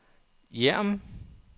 Hjerm